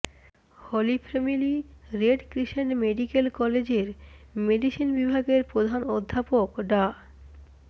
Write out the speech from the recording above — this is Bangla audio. হলি ফ্যামিলি রেড ক্রিসেন্ট মেডিক্যাল কলেজের মেডিসিন বিভাগের প্রধান অধ্যাপক ডা